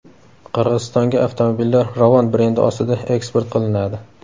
Qirg‘izistonga avtomobillar Ravon brendi ostida eksport qilinadi.